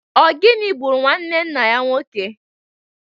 O gini gburu nwanne nna ya nwoke?